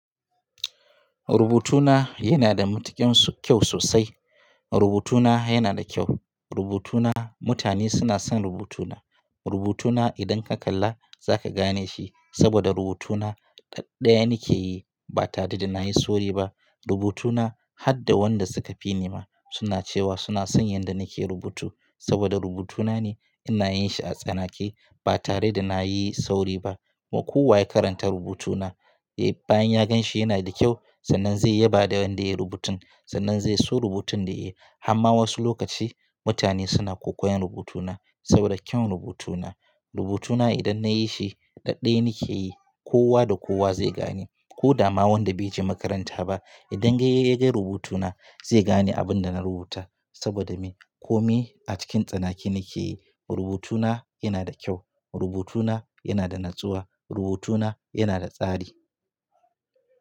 Rubutuna yana da matuƙin so kyau sosai. Rubutuna yana da kyau. Rubutuna mutane suna son rubutuna. Rubutuna idan ka kalla za ka gane shi saboda rubutuna ɗaɗɗaya nake yi ba tare da na yi sauri ba. Rubutuna har da wanda suka fi ni ma suna cewa suna son yanda nake rubutu saboda rubutuna ne ina yin shi a tsanake ba tare da na yi sauri ba. Ko kowa ya karanta rubutuna, eh bayan ya gan shi yana da kyau sannan zai yi ba da wanda ya yi rubutun. Sannan zai so rubutun da yayi. Amma wasu lokaci mutane suna kokoyan rubutuna saboda kyau rubutuna. Rubutuna idan na yi shi ɗaɗɗaya nake yi kowa da kowa zai gane. Ko dama wanda bai je makaranta ba idan sai ya ga rubutuna zai gane abun da na rubuta saboda me? Ko me a cikin tsanake nake yi. Rubutuna yana da kyau, rubutuna yana da natsuwa, rubutuna yana da tsari.